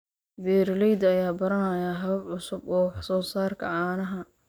Beeralayda ayaa baranaya habab cusub oo wax-soo-saarka caanaha.